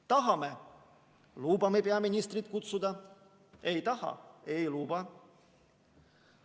Tahame, lubame peaministrit kutsuda, ei taha, ei luba.